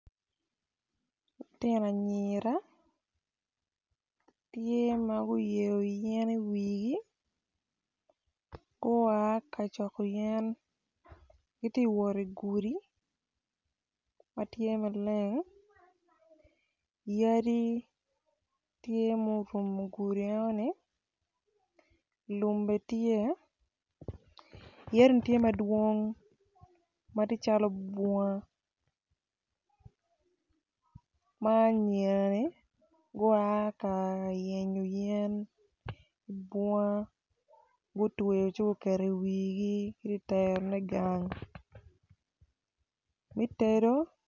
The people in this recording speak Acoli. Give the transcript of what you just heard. Lutino anyira tye ma guyeyo yen iwigi gua ka coko yen giti wot igudi ma tye maleng yadi tye ma orumo gudi enoni lum bene tye yadini tye madwong ma tye calo bunga ma anyirani gua ka yenyo yen ibunga gutweyo ci guketo iwigi giti terone gang me tedo.